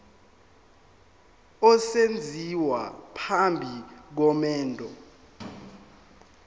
esenziwa phambi komendo